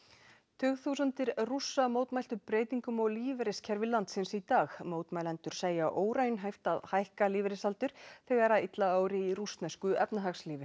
tugþúsundir Rússa mótmæltu breytingum á lífeyriskerfi landsins í dag mótmælendur segja óraunhæft að hækka lífeyrisaldur þegar illa ári í rússnesku efnahagslífi